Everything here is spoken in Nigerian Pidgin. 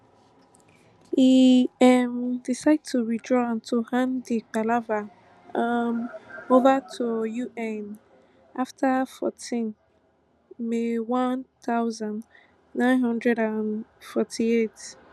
e um decide to withdraw and to hand di palava um over to un afta fourteen may one thousand, nine hundred and forty-eight